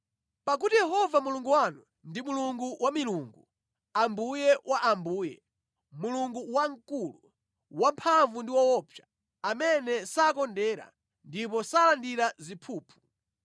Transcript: Pakuti Yehova Mulungu wanu ndi Mulungu wa milungu, Ambuye wa ambuye, Mulungu wamkulu, wamphamvu ndi woopsa, amene sakondera ndipo salandira ziphuphu.